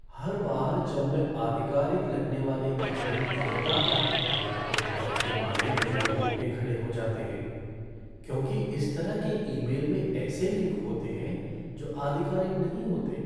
हर बार जब मैं आधिकारिक लगने वाले ईमेल देखता हूँ तो डर के मारे मेरे रोंगटे खड़े हो जाते हैं क्योंकि इस तरह के ईमेल में ऐसे लिंक होते हैं जो आधिकारिक नहीं होते।